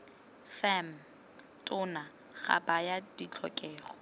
fam tona ga baya ditlhokego